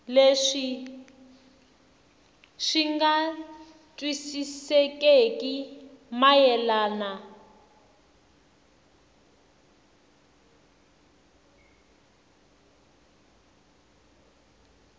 leswi swi nga twisisekeki mayelana